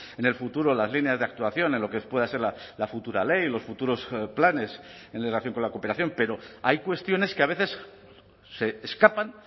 en el futuro las líneas de actuación en lo que pueda ser la futura ley los futuros planes en relación con la cooperación pero hay cuestiones que a veces se escapan